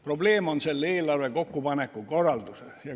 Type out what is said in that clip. Probleem on selle eelarve kokkupaneku korralduses.